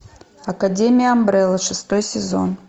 академия амбрелла шестой сезон